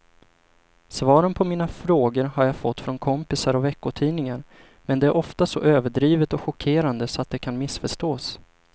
Svaren på mina frågor har jag fått från kompisar och veckotidningar men det är ofta så överdrivet och chockerande så att det kan missförstås.